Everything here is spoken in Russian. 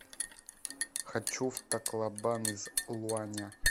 хочу в таклобан из луаня